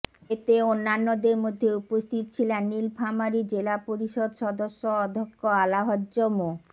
এতে অন্যান্যদের মধ্যে উপস্থিত ছিলেন নীলফামারী জেলা পরিষদ সদস্য অধ্যক্ষ আলাহজ্ব মো